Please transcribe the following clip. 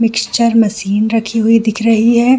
Mixture machine रखी हुई दिख रही है।